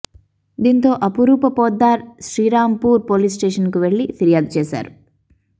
దీంతో అపురూప పొద్దార్ శ్రీరాంపూర్ పోలీస్టేషన్ కు వెళ్లి ఫిర్యాదు చేశారు